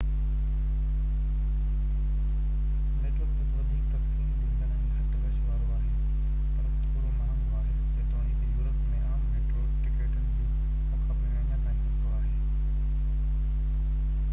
metro plus وڌيڪ تسڪين ڏيندڙ ۽ گهٽ رش وارو آهي پر ٿورو مهانگو آهي جيتوڻڪ يورپ ۾ عام ميٽرو ٽڪيٽن جي مقابلي ۾ اڃا تائين سستو آهي